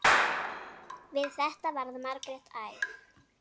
Við þetta varð Margrét æf.